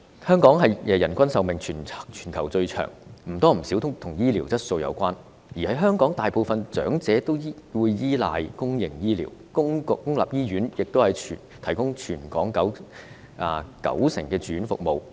香港人均壽命全球最長，或多或少與醫療質素有關，而香港大部分長者依賴公營醫療，公立醫院亦提供全港九成的住院服務。